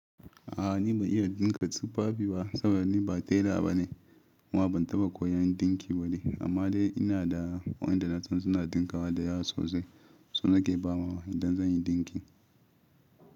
A'a ni ban iya dinka tufafi ba saboda ni ba tela bane kuma ban taɓa koyan dinki ba ne. Amma dai ina da wayanda na san suna dinkawa da yawa sosai, su nake ba mawa dan zan yi dinki.